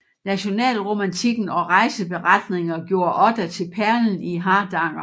Nationalromantikken og rejseberetninger gjorde Odda til perlen i Hardanger